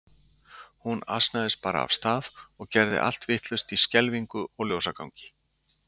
Hún asnaðist bara af stað og gerði allt vitlaust í skelfingu og ljósagangi.